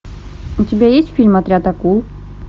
у тебя есть фильм отряд акул